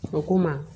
A ko n ma